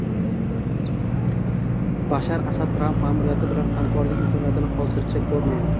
Bashar Asad Tramp ma’muriyati bilan hamkorlik imkoniyatini hozircha ko‘rmayapti.